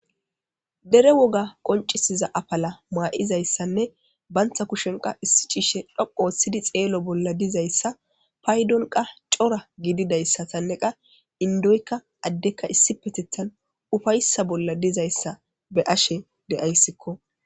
Dere woga qonc'isiza afala ma'izaysane banta kusheni issi c'ishay dhoqu othidi xelishe dizaysa paydon c'ora gididaysatane indoyka adeyka issipetetan ufaysa bola dizaysa besishen de'aysiko.